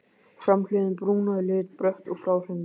Framhliðin brún að lit, brött og fráhrindandi.